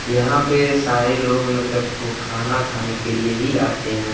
यहाँ पर सारे लोग मतलब खूब खाना खाने के लिए ही आते हैं।